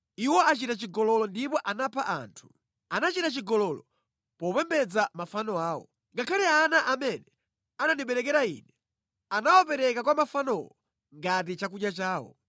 Iwo achita chigololo ndipo anapha anthu. Anachita chigololo popembedza mafano awo. Ngakhale ana amene anandiberekera Ine anawapereka kwa mafanowo ngati chakudya chawo.